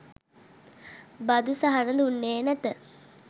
බදු සහන දුන්නේ නැත.